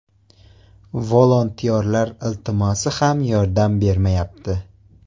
Volontyorlar iltimosi ham yordam bermayapti”.